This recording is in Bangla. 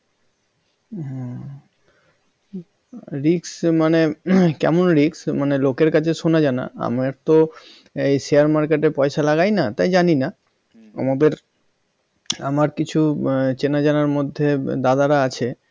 হ্যাঁ risk মানে কেমন risk মানের লোকের কাছে শোনা যায় না আমরা তো এই share market পয়সা লাগাই না তাই জানিনা আমাদের আমার কিছু আহ চেনা জানার মধ্যে দাদার আছে